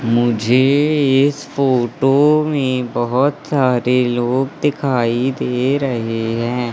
मुझे इस फोटो में बहुत सारे लोग दिखाई दे रहे हैं।